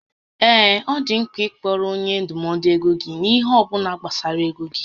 Ee, ọ dị mkpa ịkọọrọ onye ndụmọdụ ego gị ihé ọbụla gbasara égo gị